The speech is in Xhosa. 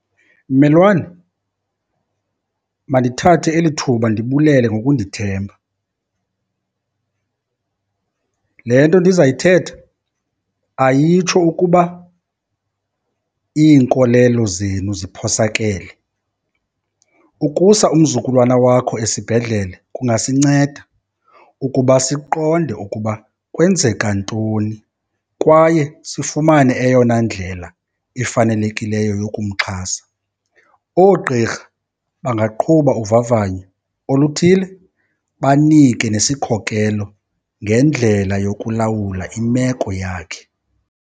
Mmelwane, mandithathe eli thuba ndibulele ngokundithemba. Le nto ndizayithetha ayitsho ukuba iinkolelo zenu ziphosakele, ukusa umzukulwana wakho esibhedlele kungasinceda ukuba siqonde ukuba kwenzeka ntoni kwaye sifumane eyona ndlela ifanelekileyo yokumxhasa. Oogqirha bangaqhuba uvavanyo oluthile, banike nesikhokelo ngendlela yokulawula imeko yakhe.